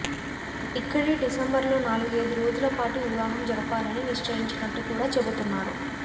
ఇక్కడే డిసెంబర్లో నాలుగైదు రోజులపాటు వివాహం జరపాలని నిశ్చయించినట్టు కూడా చెబుతున్నారు